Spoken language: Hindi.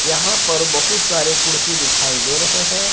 यहां पर बहुत सारे कुर्सी दिखाई दे रहे हैं।